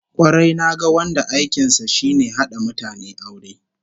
Kwarai, naga wanda aikin sa shine hada mutane aure